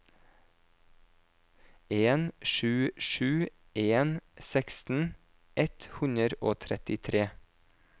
en sju sju en seksten ett hundre og trettitre